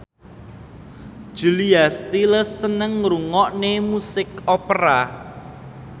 Julia Stiles seneng ngrungokne musik opera